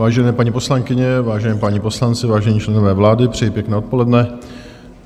Vážené paní poslankyně, vážení páni poslanci, vážení členové vlády, přeji pěkné odpoledne.